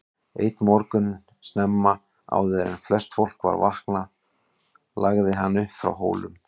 Einn morgun snemma, áður en flest fólk var vaknaði lagði hann upp frá Hólum.